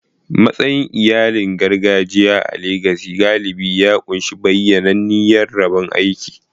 Matsayin iyali na gargajiya a Legas galibi ya ƙunshi bayyananniyar rabon aiki.